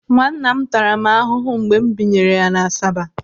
Nwanna m tara m ahụhụ mgbe m binywre ya n'Asaba.